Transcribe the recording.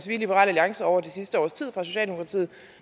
vi i liberal alliance over det sidste års tid fra socialdemokratiet